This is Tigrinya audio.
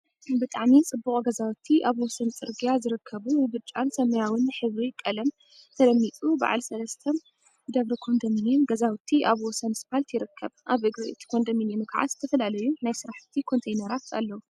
ብጣዕሚ ጽቡቅ ገዛውቲ ኣብ ወሰን ጽርግያ ዝርከቡ ብብጫን ሰማያዊን ሕብሪ ቀለም ተለሚጸ በዓል ሰለስተ ደብሪ ኮንደሚንየም ገዛውቲ ኣብ ወሰን ስፓልት ይርከብ። ኣብ እግሪ እቲ ኮንደምንየም ከዓ ዝተፈላለዩ ናይ ስራሕ ኮንተይነራት ኣለው።